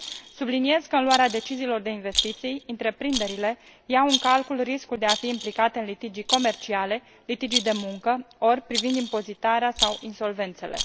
Subliniez că, în luarea deciziilor de investiții, întreprinderile iau în calcul riscul de a fi implicate în litigii comerciale, litigii de muncă ori privind impozitarea sau insolvențele.